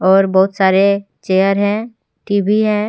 और बहुत सारे चेयर है टी_वी है।